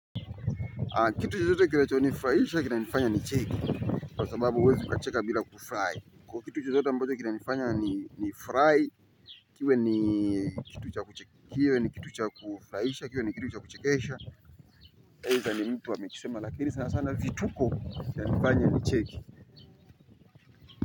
Kitu chochote kinacho nifurahisha kina nifanya nicheke. Kwa sababu huwezi ukacheka bila kufurahi. Kwa hivo kitu chochote ambacho kina nifanya ni furahi kiwe ni kitu cha kufurahisha, kiwe ni kitu cha kuchekesha aidha ni mtu amekisema lakini sana sana vituko kina nifanya ni cheke.